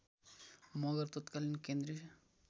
मगर तत्कालीन केन्द्रीय